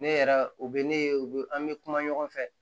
Ne yɛrɛ u bɛ ne ye u bɛ an bɛ kuma ɲɔgɔn fɛ